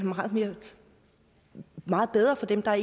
meget bedre for dem der